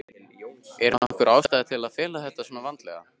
Er nokkur ástæða til að fela þetta svona vandlega?